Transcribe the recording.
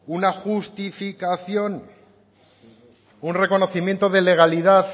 una justificación un reconocimiento de legalidad